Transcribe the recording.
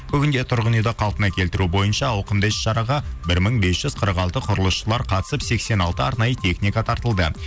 бүгінде тұрғын үйді қалпына келтіру бойынша ауқымды іс шараға бір мың бес жүз қырық алты құрылысшылар қатысып сексен алты арнайы техника тартылды